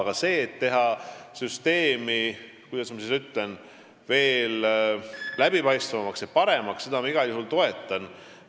Aga seda, et teha süsteemi veel läbipaistvamaks ja paremaks, ma igal juhul toetan.